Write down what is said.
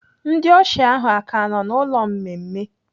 Ndị ọsha ahụ aka nọ n'ụlọ mmemme?